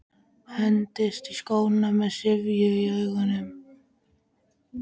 Hendist í skóna með syfju í augunum.